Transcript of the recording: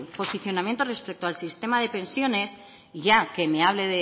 posicionamiento respecto al sistema de pensiones y ya que me hable